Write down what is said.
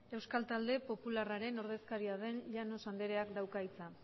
euskal talde popularraren ordezkaria den llanos andreak dauka hitza